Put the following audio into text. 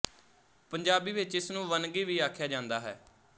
ਪੰਜਾਬੀ ਵਿੱਚ ਇਸ ਨੂੰ ਵੰਨਗੀ ਵੀ ਆਖਿਆ ਜਾਂਦਾ ਹੈ